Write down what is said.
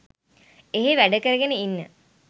එහෙ වැඩකරගෙන ඉන්න